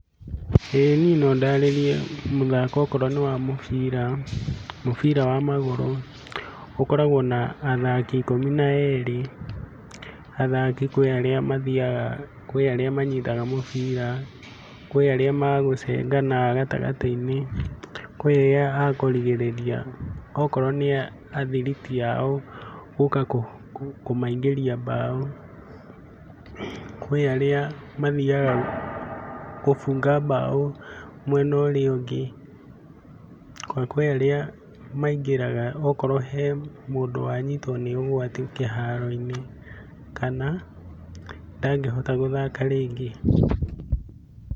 ĩĩ niĩ nondarĩrie mũthako okorwo nĩ wa mũbira. Mũbira wa magũrũ ũkoragwo na athaki ikũmi na erĩ. Athaki kwĩ arĩa mathiaga, kwĩ arĩa manyitaga mũbira. Kwĩ arĩa agũcengana ha gatagatĩ-inĩ. Kwĩ arĩa akũrigĩrĩria okorwo nĩ athiriti ao gũka kũmaingĩria mbaũ. Kwĩ arĩa mathiaga gũbunga mbaũ mwena ũrĩa ũngĩ, na kwĩ arĩa maingĩraga okorwo he mũndũ wanyitwo nĩ ũgwati kĩharo-inĩ, kana ndangĩhota gũthaka rĩngĩ.